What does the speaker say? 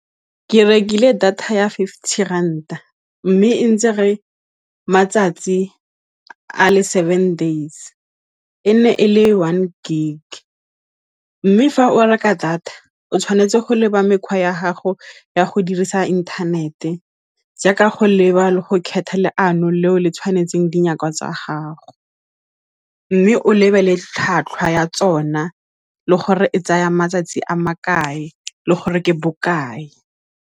Ke rekile data ya fifty ranta, mme e ntsere matsatsi a le seven days, e nne e le one gig. Mme fa o reka data o tshwanetse go leba mekgwa ya gago ya go dirisa inthanete jaaka go leba le go kgetha ano leo le tshwanetseng tsa gago, mme o lebelle tlhwatlhwa ya tsona le gore e tsaya matsatsi a makae le gore ke bokae.